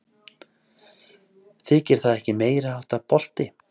Þykir það ekki meiriháttar bolti?